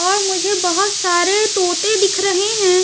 और मुझे बहुत सारे तोते दिख रहे हैं।